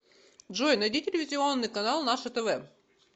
джой найди телевизионный канал наше тв